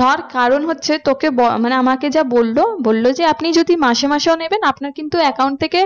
ধর কারণ হচ্ছে তোকে আমাকে যা বললো, বললো যে আপনি যদি মাসে মাসেও নেবেন আপনার কিন্তু account থেকে